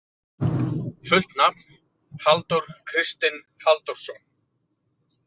Fullt nafn: Halldór Kristinn Halldórsson.